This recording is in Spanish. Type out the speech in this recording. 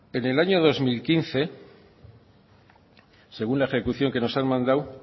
en el año dos mil quince según la ejecución que nos han mandado